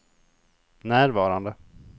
närvarande